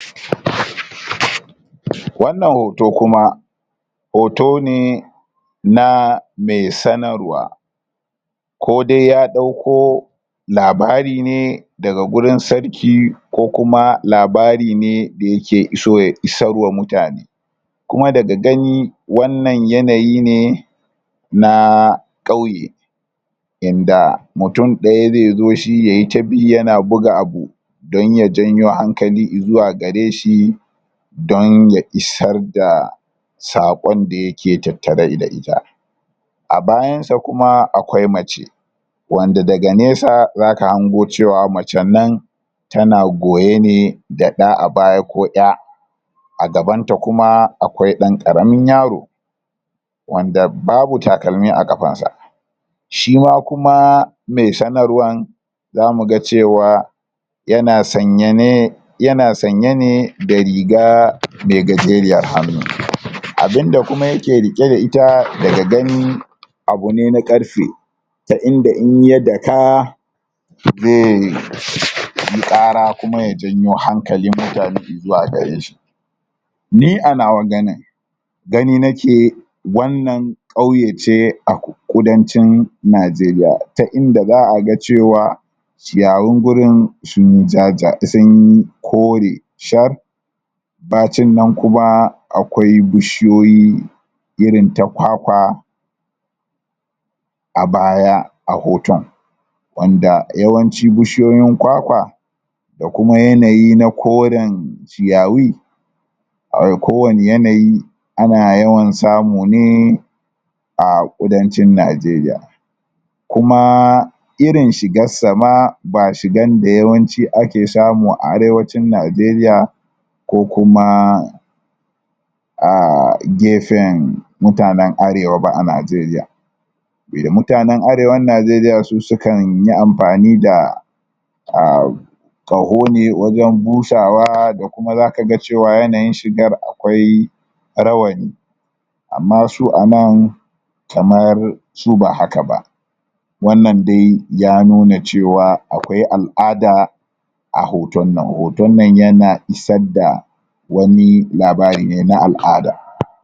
[????] wannan hoto kuma hoto ne na me sanarwa ko dai ya dauko labari ne daga wurin sarki ko kuma labari ne da yake so ya isar wa mutane kuma daga gani wannan yanayi ne naa qauye yanda mutum daya zai zo shi yayi ta bi yana buga abu don ya janyo hankali zuwa gareshi don ya isar da sakon da yake tattare da ita a abayan sa kuma akwai mace wanda daga nesa zaka hango cewa macen nan tana goye ne da da baya ko 'ya a gabanta kuma akwai dan karamin yaro wanda babu takalmi a kafan sa shi ma kuma me sanarwan zamu ga cewa yana sanye ne yana sanye ne da rigaa me gajeriyar hannu abunda kuma yake rike da ita daga gani abune na karfe ta inda in ya daka zai um qara kuma ya janyo hankalin mutane izuwa gareshi ni anawa ganin gani nake wannan qauye ce a kudancin najeriya ta inda zaa ga cewa ciyawun wurin sun jaja ji sun yi kore shar ba cin nan kuma akwai bishiyoyi irin ta kwakwa a baya a hoton wanda yawanci bishiyoyin kwakwa da kuma yanayi na qoren ciyawi a kowanii yanayi ana yawan samun ne a kudancin najeriya kumaa irin shigar sa ma ba shigan da yawanci ake samu a arewacin najeriya ko kuma aaaa gefen mutanen arewa ba a najeriya eh mutanen arewan najeriya su kanyi amfani da um um qaho ne wajen busawa da kuma zaka ga cewan yanayin shigar akwai rawani amma su anan kamar su ba hakaba wannan dai ya nuna cewa akwai al'ada a hoton nan hoton nan yana isar da wani labari ne na al'ada